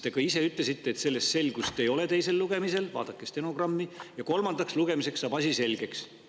Te ka ise ütlesite teisel lugemisel, et selles selgust ei ole – vaadake stenogrammi – ja kolmandaks lugemiseks saab asi selgeks.